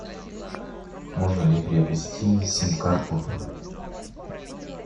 можно ли приобрести сим карту